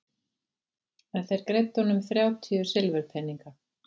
En þeir greiddu honum þrjátíu silfurpeninga.